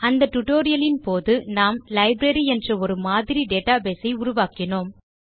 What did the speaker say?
அந்த டியூட்டோரியல் இன் போது நாம் லைப்ரரி என்ற ஒரு மாதிரி டேட்டாபேஸ் ஐ உருவாக்கினோம்